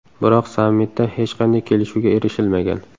Biroq sammitda hech qanday kelishuvga erishilmagan.